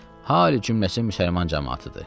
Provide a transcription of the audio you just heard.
Hal-i cümləsi müsəlman camaatıdır.